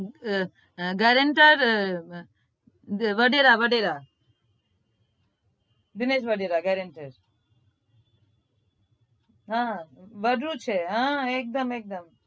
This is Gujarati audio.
હા gerenter વડેરા વડેરા છે દિનેશ વડેરા હમ બધું છે એક દમ એક દમ